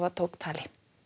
tók tali